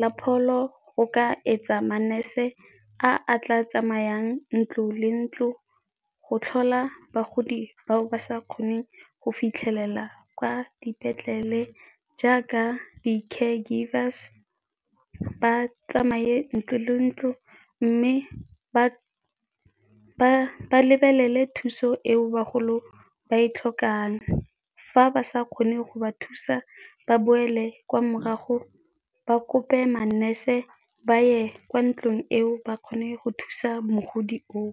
la pholo go ka etsa ma-nurse a a tla tsamayang ntlo le ntlo go tlhola bagodi ba o ba sa kgoneng go fitlhelela kwa dipetlele. Jaaka di-care givers, ba tsamaye ntlo le ntlo mme ba lebelele thuso eo bagolo ba e tlhokang, fa ba sa kgoneng go ba thusa ba boele kwa morago ba kope ma-nurse ba ye kwa ntlong eo ba kgone go thusa mogodi oo.